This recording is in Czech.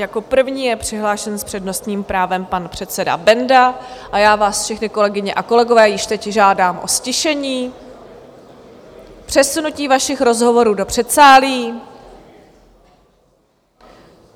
Jako první je přihlášen s přednostním právem pan předseda Benda a já vás všechny, kolegyně a kolegové, již teď žádám o ztišení, přesunutí vašich rozhovorů do předsálí.